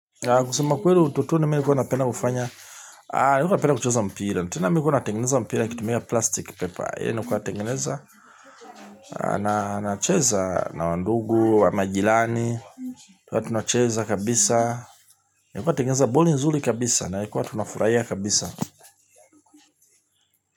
Kusemakuweli utotoni mi nilikuwa napenda kufanya ah, nilikuwa napenda kucheza mpira tena mi nilkuwa natengeneza mpira kutimia plastic paper ilikuwa na tengeneza na nacheza na wandugu, wamajirani na tunacheza kabisa nilikuwa tengeneza boli nzuli kabisa na ilikuwa tunafuraia kabisa.